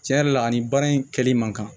Tiɲɛ yɛrɛ la ani baara in kɛli man kan